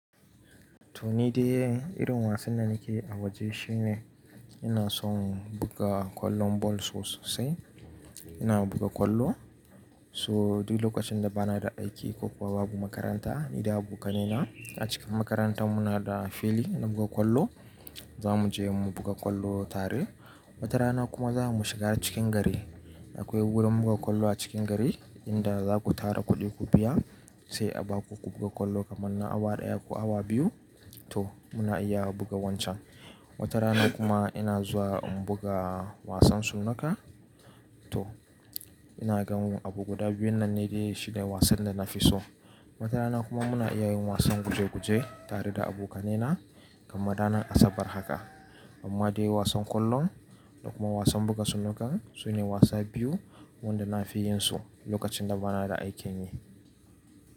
To ni dai irin wasan da nake yi a waje shine ina son buga kwallon ball sosai. Ina buga kwallo so duk lokacin da bana da aiki ko kuma babu makaranta. Ni da abokaina a cikin makaranta muna da fili na buga kwallo zamu je mu buga kwallo tare. Wata rana kuma za mu shiga cikin gari. Akwai wurin buga kwallo a cikin gari inda zaku tara kuɗi ku biya sai a baku ku buga kwallo kamar na awa ɗaya ko awa biyu. To muna iya buga wancan. Wata rana kuma ina zuwa in buga wasan sunuka. To ina ganin abu guda biyun nan ne dai shi ne dai wasan da nafi so. Wata rana kuma muna iya yin wasan guje-guje tare da abokaina kamar ranar Asabar haka. Amma dai wasan kwallon da kuma wasan buga sunuka su ne wasa biyu wanda nafi yin su lokacin da bana da aikin yi.